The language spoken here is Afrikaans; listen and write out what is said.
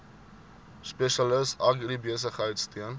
spesialis agribesigheid steun